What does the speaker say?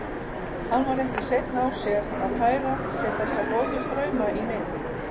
Hann var ekki seinn á sér að færa sér þessa góðu strauma í nyt.